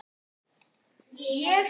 Treysti Viðar honum alltaf?